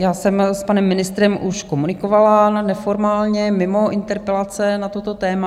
Já jsem s panem ministrem už komunikovala neformálně, mimo interpelace na toto téma.